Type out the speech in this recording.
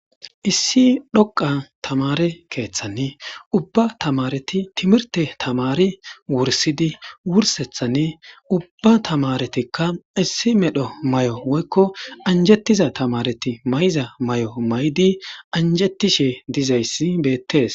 Issi dhoqa tamare keeththanni ubba tamareti timirte tamari wursidi wursethanni ubba tamaretikka issi medho may'o woykko anjettiza tamareti may'iza may'o maydi anjettishe dizayssi beettees.